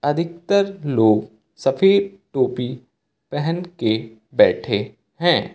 अधिकतर लोग सफेद टोपी पहनके बैठे हैं।